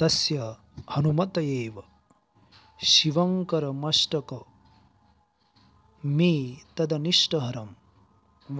तस्य हनूमत एव शिवङ्करमष्टकमेतदनिष्टहरं